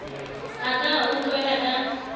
a ka a utlwela ka